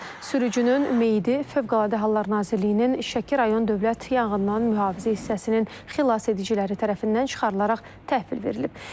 Sürücünün meyidi Fövqəladə Hallar Nazirliyinin Şəki rayon Dövlət Yanğından Mühafizə hissəsinin xilasediciləri tərəfindən çıxarılaraq təhvil verilib.